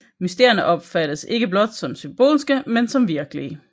Mysterierne opfattes ikke som blot symbolske men som virkelige